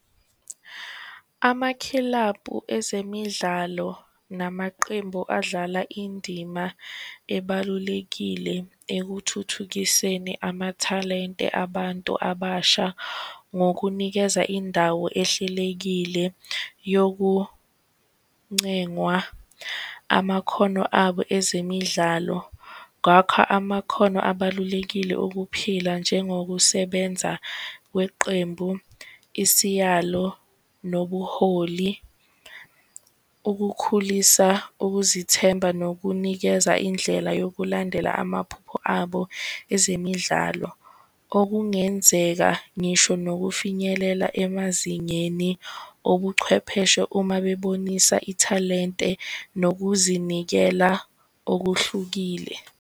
Amakhilabhu ezemidlalo namaqembu adlala indima ebalulekile ekuthuthukiseni amathalente abantu abasha ngokunikeza indawo ehlelekile yokuncengwa amakhono abo ezemidlalo. Ngakho, amakhono abalulekile ukuphila njengokusebenza kweqembu. Isiyalo, nobuholi, ukukhulisa ukuzithemba, nokunikeza indlela yokulandela amaphupho abo ezemidlalo, okungenzeka ngisho nokufinyelela emazingeni obuchwepheshe, uma bebonisa ithalente nokuzinikela okuhlukile.